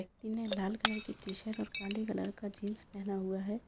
व्यक्ति ने लाल कलर की टी-शर्ट और काले कलर का जीन्स पहना हुआ है।